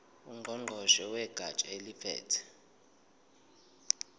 ngqongqoshe wegatsha eliphethe